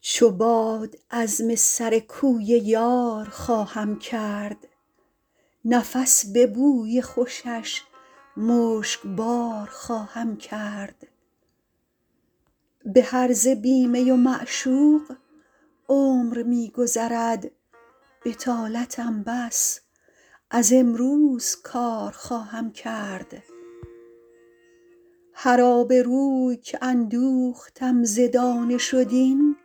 چو باد عزم سر کوی یار خواهم کرد نفس به بوی خوشش مشکبار خواهم کرد به هرزه بی می و معشوق عمر می گذرد بطالتم بس از امروز کار خواهم کرد هر آبروی که اندوختم ز دانش و دین